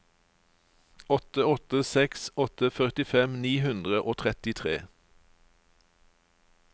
åtte åtte seks åtte førtifem ni hundre og trettitre